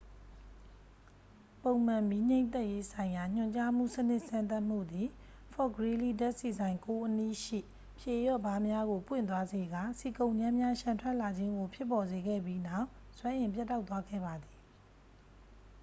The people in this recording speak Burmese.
ပုံမှန် မီးငြှိမ်းသတ်ရေးဆိုင်ရာညွှန်ကြားမှုစနစ်စမ်းသပ်မှုသည် ဖော့ဖ်ဂရီးလီး ဓာတ်ဆီဆိုင် 9 အနီးရှိ ဖြေလျှော့ဗားများကို ပွင့်သွားစေကာ ဆီကုန်ကြမ်းများ လျှံထွက်လာခြင်းကို ဖြစ်ပေါ်စေခဲ့ပြီးနောက် စွမ်းအင်ပြတ်တောက်သွားခဲ့ပါသည်